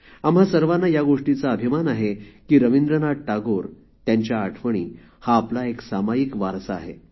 आम्हा सर्वांना या गोष्टीचा अभिमान आहे की रविंद्रनाथ टागोर त्यांच्या आठवणी हा आपला एक सामायिक वारसा आहे